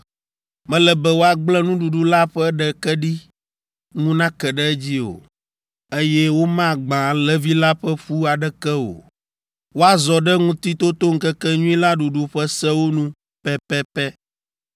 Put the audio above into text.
Mele be woagblẽ nuɖuɖu la ƒe ɖeke ɖi ŋu nake ɖe edzi o, eye womagbã alẽvi la ƒe ƒu aɖeke o. Woazɔ ɖe Ŋutitotoŋkekenyui la ɖuɖu ƒe sewo nu pɛpɛpɛ.